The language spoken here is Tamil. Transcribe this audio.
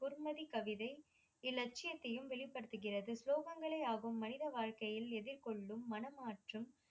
குர்நதி கவிதை இலட்சியத்தையும் வெளிப்படுத்துகிறது சோகங்களை ஆகும் மனித வாழ்க்கையில் எதிர்கொள்ளும் மனமாற்றம்